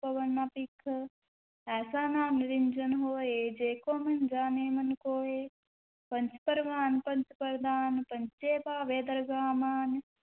ਭਵਹਿ ਨਾ ਭਿਖ, ਐਸਾ ਨਾਮੁ ਨਿਰੰਜਨੁ ਹੋਇ, ਜੇ ਕੋ ਮੰਨਿ ਜਾਣੈ ਮਨਿ ਕੋਇ, ਪੰਚ ਪਰਵਾਣ ਪੰਚ ਪਰਧਾਨੁ, ਪੰਚੇ ਪਾਵਹਿ ਦਰਗਹਿ ਮਾਨੁ,